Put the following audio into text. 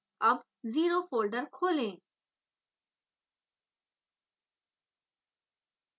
अब 0 zero folder खोलें